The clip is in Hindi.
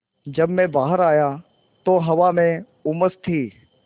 जब मैं बाहर आया तो हवा में उमस थी